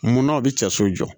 Munna u bɛ cɛsiri jɔ